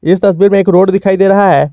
इस तस्वीर में एक रोड दिखाई दे रहा है।